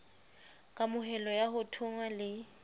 kamohelo ya ho thonngwa le